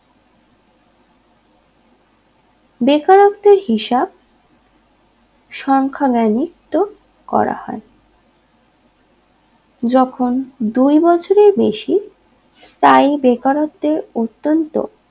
বেকারত্বের হিসাব সংখ্যা বেনিত্ব করা হয় যখন দুই বছরে বেশি তাই বেকারত্বের অত্যন্ত